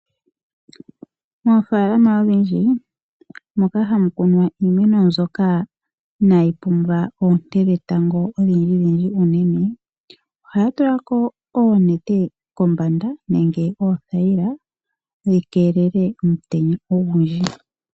Moofaalama odhindji moka hamu kunwa iimeno mbyoka inaayi pumbwa oonte dhentango odhindjidhindji , ohaya tula ko oonete oothayila kombanda dhi keelele omutenya ogundji.